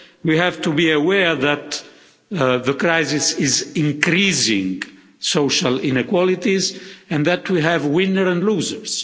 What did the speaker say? We have to be aware that the crisis is increasing social inequalities and that we have winners and losers.